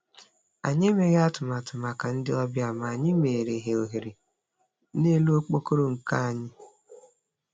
Anyi emeghị atụmatụ maka ndị obịa, ma anyị meere ha ohere n'elu okpokoro nka anyị